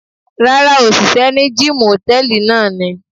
Rárá, òṣìṣẹ́ ní gíìmù hòtẹ́ẹ̀lì náà ni.